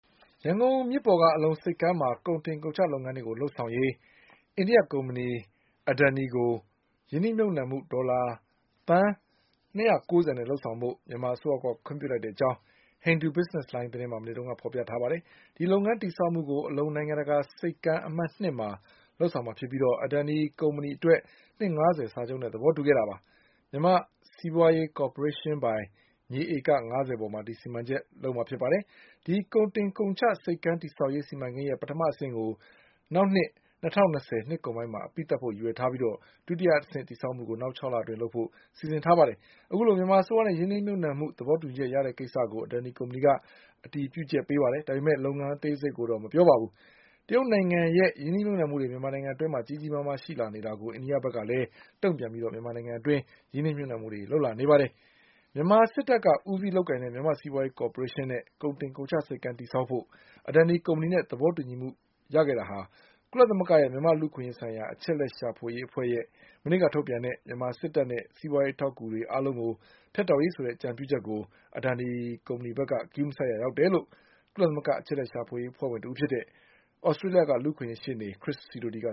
ရန်ကုန်မြစ်ပေါ်က အလုံဆိပ်ကမ်းမှာ ကုန်တင်ကုန်ချ လုပ်ငန်းတွေလုပ်ဆောင်ရေး အိန္ဒိယ ကုမ္ပဏီ Adani ကို ရင်းနှီးမြှုပ်နှံမှု ဒေါ်လာ သန်း၂၉၀နဲ့ လုပ်ဆောင်ဖို့ မြန်မာအစိုးရက ခွင့်ပြုလိုက်တဲ့အကြောင်း Hindu Business Line သတင်းမှာ မနေ့က ဖေါ်ပြထားပါတယ်။ အဲဒီလုပ်ငန်းတည်ဆောက်မှုကို အလုံ နိုင်ငံတကာဆိပ်ကမ်း အမှတ်၂မှာလုပ်ဆောင်မှာဖြစ်ပြီး Adani ကုမ္ပဏီအတွက် နှစ်ငါးဆယ်စာချုပ်နဲ့သဘောတူခဲ့တာပါ။ မြန်မာ့စီးပွါးရေးကော်ပိုရေးရှင်းပိုင် မြေဧက ငါးဆယ်ပေါ် မှာ ဒီစီမံကိန်းလုပ်ကိုင်မှာ ဖြစ်ပါတယ်။ ဒီကုန်တင်ကုန်ချ ဆိပ်ကမ်းတည်ဆောက်ရေးစီမံကိန်းရဲ့ ပထမအဆင့်ကို နောက် နှစ် ၂၀၂၀နှစ် ကုန်ပိုင်းမှာ အပြီးသတ်ဖို့ ရည်ရွယ်ထားပြီး ဒုတိယ အဆင့်တည်ဆောက်မှုကို နောက်၆လအတွင်းလုပ်ဖို့ စီစဉ်ထားပါတယ်။ အခုလို မြန်မာအစိုးရနဲ့ရင်းနှီးမြုပ်နှံမှုသဘောတူညီချက်ရတဲ့ကိစ္စကို Adani ကုမ္ပဏီက အတည်ပြုချက် ပေးပေမဲ့ လုပ်ငန်းအသေးစိတ်ကိုတော့ မပြောပါဘူး။ တရုတ်နိုင်ငံရဲ့ရင်းနှီးမြုပ်နှံမှုတွေမြန်မာနိုင်ငံအတွင်း ကြီးကြီးမားမား ရှိနေတာကို အိန္ဒိယဘက်ကလည်းတုံ့ပြန်ပြီး မြန်မာနိုင်ငံမှာ ရင်းနှီးမြုပ်နှံမှုတွေလုပ်လာနေတာပါ။ မြန်မာစစ်တပ်ကဦးစီး လုပ်ကိုင်တဲ့ မြန်မာ့စီးပွားရေးကော်ပိုရေးရှင်းနဲ့ ကုန်တင်ကုန်ချ ဆိပ်ကမ်းတည်ဆောက်ဖို့ Adani ကုမ္ပဏီနဲ့သဘောတူညီမှု ဟာ ကုလသမဂ္ဂရဲ့ မြန်မာ့လူ့အခွင့်အရေးဆိုင်ရာ အချက်အလက်ရှာဖွေရေးအဖွဲ့ရဲ့ မနေ့ကထုတ်ပြန်တဲ့ မြန်မာစစ်တပ်နဲ့ စီးပွားရေးအထောက်အကူတွေအားလုံးဖြတ်တောက်ရေးဆိုတဲ့ အကြံပြုချက်ကို Adani ကုမ္ပဏီဘက်က ဂရုမစိုက်ရာ ရောက်တယ်လို့ ကုလသမဂ္ဂအချက်အလက်ရှာဖွေရေး အဖွဲ့ဝင်တဦးဖြစ်တဲ့ သြစတေးလျ လူ့အခွင့်အရေးရှေ့နေ ခရစ်စီဒိုတီက